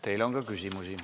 Teile on ka küsimusi.